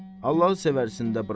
Allahı sevərsindən burax.